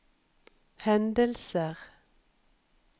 hendelser